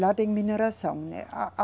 Lá tem mineração, né? A, a